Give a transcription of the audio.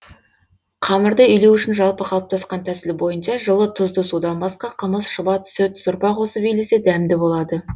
қамырды илеу үшін жалпы қалыптасқан тәсіл бойынша жылы тұзды судан басқа қымыз шұбат сүт сорпа қосып илесе дәмді болады